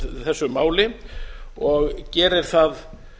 þessu máli og gerir það